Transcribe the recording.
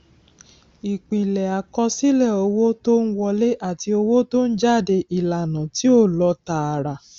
ìpìlẹ àkọsílẹ owó tó ń wọlé àti owó tó ń jáde ìlànà tí ó lọ tààrà